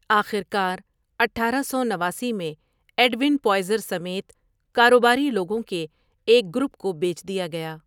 آخر کار اٹھارہ سو نواسی میں ایڈوِن پوائزر سمیت کاروباری لوگوں کے ایک گروپ کو بیچ دیا گیا ۔